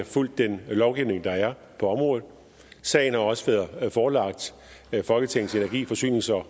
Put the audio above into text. fulgt den lovgivning der er på området sagen har også været forelagt folketingets energi forsynings og